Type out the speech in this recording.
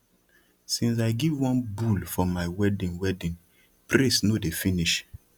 since i give one bull for my wedding wedding praise no dey finish